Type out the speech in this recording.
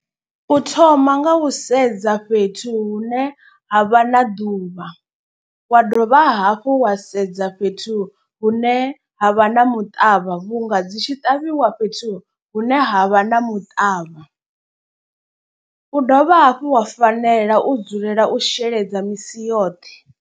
U thoma nga u sedza fhethu hune ha vha na ḓuvha. Wa dovha hafhu wa sedza fhethu hune ha vha na muṱavha vhunga dzi tshi ṱavhiwa fhethu hune ha vha na muṱavha. U dovha hafhu wa fanela u dzulela u sheledza misi yoṱhe.